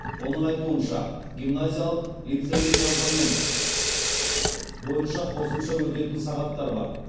оның айтуынша гимназиялық лицейлік компонент бойынша қосымша өтетін сағаттар бар